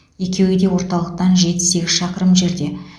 екеуі де орталықтан жеті сегіз шақырым жерде